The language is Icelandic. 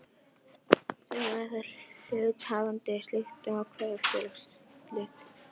Stundum er þó hluthafafundi skylt að ákveða félagsslit.